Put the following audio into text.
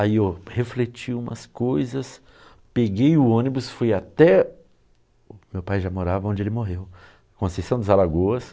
Aí eu refleti umas coisas, peguei o ônibus, fui até... Meu pai já morava onde ele morreu, Conceição dos Alagoas.